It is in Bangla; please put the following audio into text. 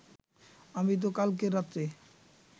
আমি তো কালকে রাতে